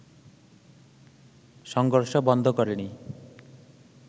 সংঘর্ষ বন্ধ করেনি